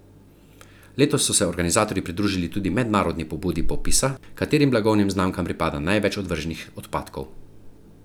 Letos so se organizatorji pridružili tudi mednarodni pobudi popisa, katerim blagovnim znamkam pripada največ odvrženih odpadkov.